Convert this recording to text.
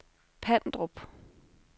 Pandrup